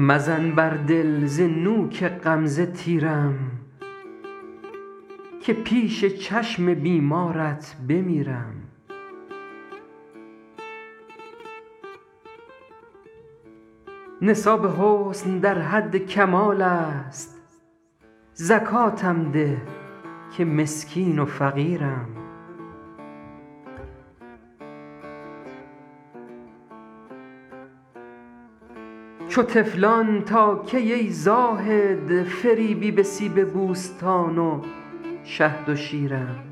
مزن بر دل ز نوک غمزه تیرم که پیش چشم بیمارت بمیرم نصاب حسن در حد کمال است زکاتم ده که مسکین و فقیرم چو طفلان تا کی ای زاهد فریبی به سیب بوستان و شهد و شیرم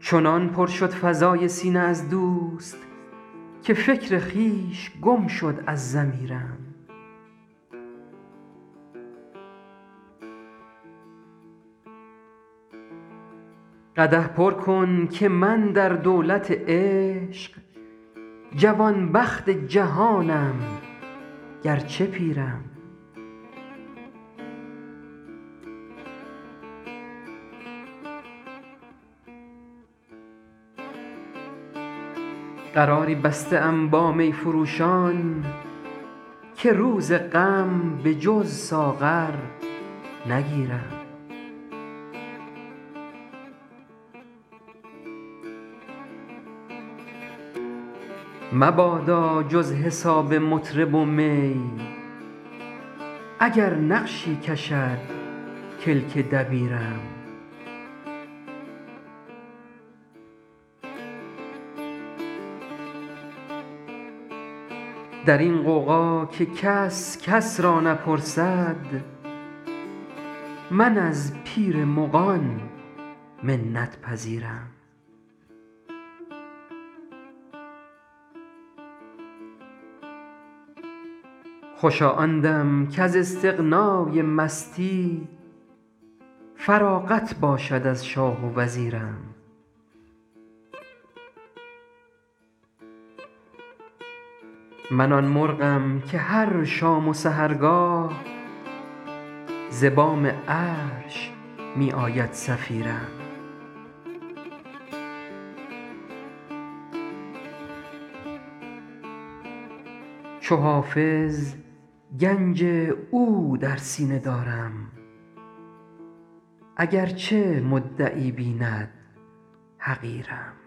چنان پر شد فضای سینه از دوست که فکر خویش گم شد از ضمیرم قدح پر کن که من در دولت عشق جوانبخت جهانم گرچه پیرم قراری بسته ام با می فروشان که روز غم به جز ساغر نگیرم مبادا جز حساب مطرب و می اگر نقشی کشد کلک دبیرم در این غوغا که کس کس را نپرسد من از پیر مغان منت پذیرم خوشا آن دم کز استغنای مستی فراغت باشد از شاه و وزیرم من آن مرغم که هر شام و سحرگاه ز بام عرش می آید صفیرم چو حافظ گنج او در سینه دارم اگرچه مدعی بیند حقیرم